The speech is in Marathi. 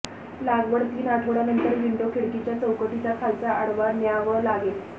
लागवड तीन आठवड्यांनंतर विंडो खिडकीच्या चौकटीचा खालचा आडवा न्यावं लागेल